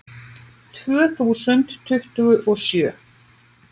Tvö þúsund tuttugu og sjö